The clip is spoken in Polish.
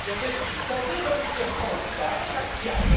Przecież to wy rządzicie w Polsce, a nie Marsjanie!